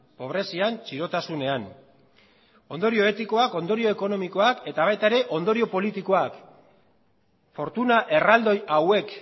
pobrezian txirotasunean ondorio etikoak ondorio ekonomikoak eta baita ere ondorio politikoak fortuna erraldoi hauek